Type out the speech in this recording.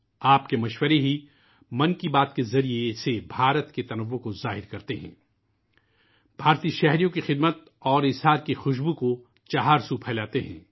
آپ کی تجاویز '' من کی بات '' کے ذریعے بھارت کے تنوع کا اظہار کرتی ہیں ، بھارت میں رہنے والوں کی خدمت اور قربانی کو چاروں طرف پھیلاتی ہیں